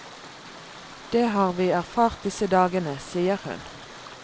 Det har vi erfart disse dagene, sier hun.